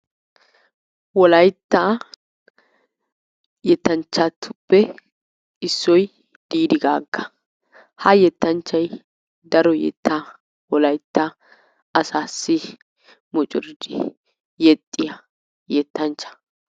Wolaytta yettanchchatuppe issoy Diidi Gaagga. Ha yettanchchay daro yettaa wolaytta asaassi mucuridi yexxiya yettanchcha.